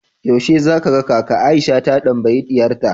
yaushe zaka ga kaka Aisha ta tambayi diyarta